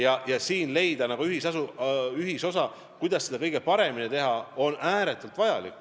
On ääretult vajalik leida siin ühisosa, kuidas seda kõige paremini teha.